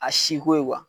A si ko ye